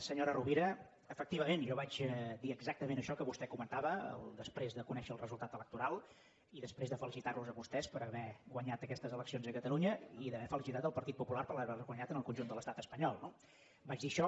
senyora rovira efectivament jo vaig dir exactament això que vostè comentava després de conèixer el resultat electoral i després de felicitar los a vostès per haver guanyat aquestes eleccions a catalunya i d’haver felicitat el partit popular per haver les guanyat en el conjunt de l’estat espanyol no vagi això